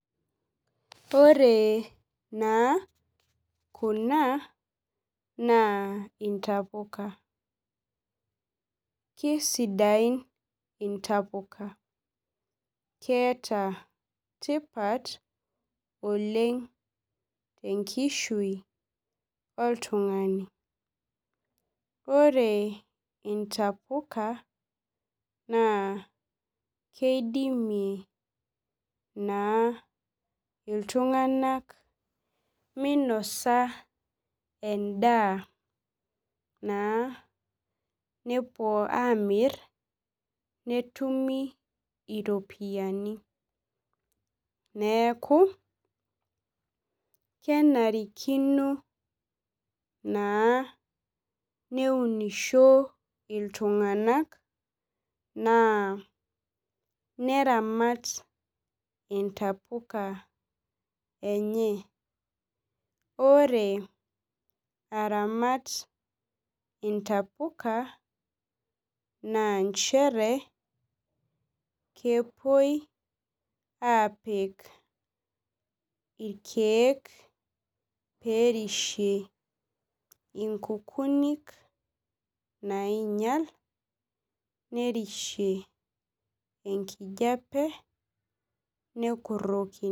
Ore naa kuna naa intapuka kisidain intapuka keeta tipat oleng tenkishui oltung'ani ore intapuka naa keidimie naa iltung'anak meinosa endaa naa nepuo amirr netumi iropiani neeku kenarikino naa neunisho iltung'anak naa neramat intapuka enye ore aramat intapuka naa nchere kepuoi apik irkeek perishie inkukunik nainyial nerishie enkijiape nekurrokini.